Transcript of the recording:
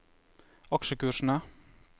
aksjekursene